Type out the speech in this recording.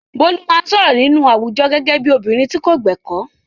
Bolu máa ń sọ̀rọ̀ nínú àwùjọ gẹ́gẹ́ bí obìnrin tí kò gbẹ̀kọ́.